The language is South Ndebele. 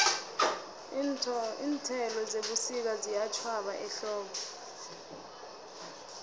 iinthelo zebusika ziyatjhwaba ehlobo